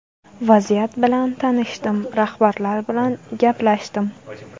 Vaziyat bilan tanishdim, rahbarlar bilan gaplashdim.